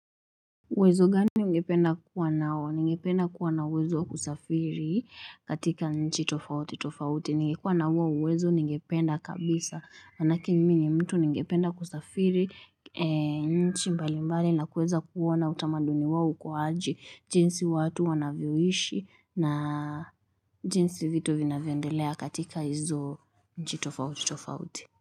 Uwezo gani ungependa kuwa nao? Ningependa kuwa na uwezo wa kusafiri katika nchi tofauti tofauti. Ningekuwa na huo uwezo ningependa kabisa manake mimi ni mtu ningependa kusafiri nchi mbali mbali na kuweza kuona utamaduni wao uko aje jinsi watu wanavyoishi na jinsi vitu vinavyoendelea katika hizo nchi tofauti tofauti.